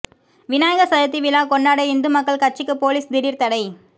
விநாயகர் சதுர்த்தி விழா கொண்டாட இந்து மக்கள் கட்சிக்கு போலீஸ் திடீர் தடை